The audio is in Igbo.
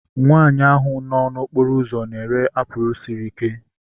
Nwaanyi ahu nọ n'okporo ụzọ na-ere apụl sịrị ike